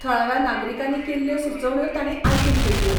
थळाव्या नागरिकांनी केल्ल्यो सुचोवण्यो तांणी आयकून घेतल्यो.